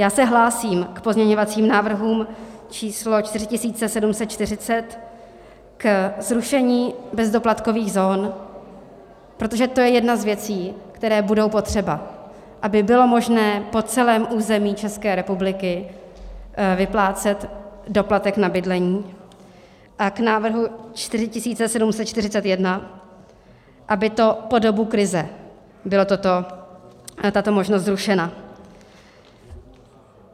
Já se hlásím k pozměňovacím návrhům číslo 4740, ke zrušení bezdoplatkových zón, protože to je jedna z věcí, které budou potřeba, aby bylo možné po celém území České republiky vyplácet doplatek na bydlení, a k návrhu 4741, aby to po dobu krize byla tato možnost zrušena.